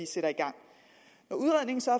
sætter i gang når udredningen så